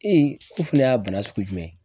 ko fana y'a bana sugu jumɛn ye?